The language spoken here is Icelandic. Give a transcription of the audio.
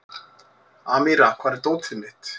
Amíra, hvar er dótið mitt?